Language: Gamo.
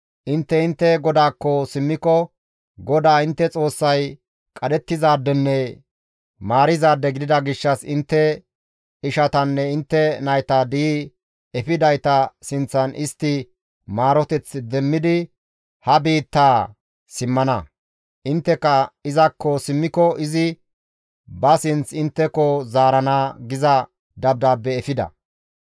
Intte intte GODAAKKO simmiko GODAA intte Xoossay qadhettizaadenne maarizaade gidida gishshas intte ishatanne intte nayta di7i efidayta sinththan istti maaroteth demmidi ha biittaa simmana; intte izakko simmiko izi ba sinth intteko zaarana» giza dabdaabbe efida.